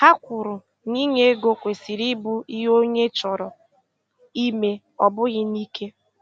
Ha kwuru na inye ego kwesịrị ịbụ ihe onye chọrọ ime, ọ bụghị n’ike.